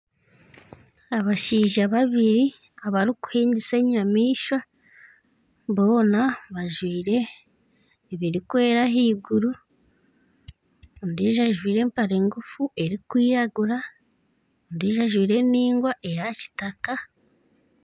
Abashaija babiri abarukuhingisa enyamaishwa boona bajwire ebirikwera ahaiguru ondiijo ajwire empare ngufu erikwiragura ondiijo ajwire endingwa eya kitaka .